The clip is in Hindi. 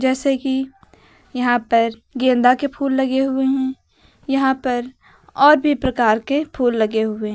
जैसे कि यहां पर गेंदा के फूल लगे हुए हैं यहां पर और भी प्रकार के फूल लगे हुए हैं।